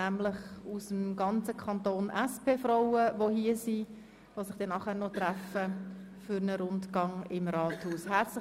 Aus dem ganzen Kanton sind SP-Frauen hergekommen, die sich nachher noch zu einem Rundgang im Rathaus treffen.